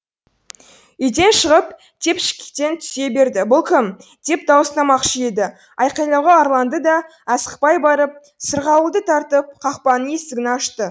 үйден шығып тепшіктен түсе берді бұл кім деп дауыстамақшы еді айқайлауға арланды да асықпай барып сырғауылды тартып қақпаның есігін ашты